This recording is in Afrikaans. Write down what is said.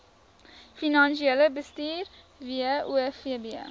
finansiële bestuur wofb